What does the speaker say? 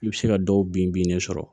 I bɛ se ka dɔw bin bin de sɔrɔ